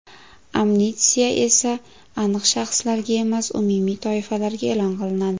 Amnistiya esa aniq shaxslarga emas, umumiy toifalarga e’lon qilinadi.